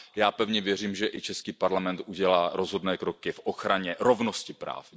Já pevně věřím, že i český parlament udělá rozhodné kroky v ochraně rovnosti práv.